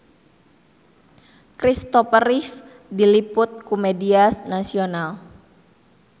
Kristopher Reeve diliput ku media nasional